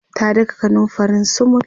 ta daka kanumfarin sumul